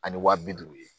Ani wa bi duuru ye